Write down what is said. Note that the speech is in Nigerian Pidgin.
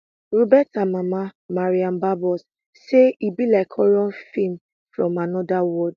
roberta mama maria barbos say e be like horror feem from anoda world